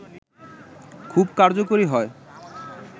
খুব কার্যকারী হয়